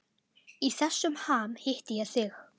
Í þessum ham hitti ég þig.